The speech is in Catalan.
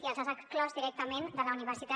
i les ha exclòs directament de la universitat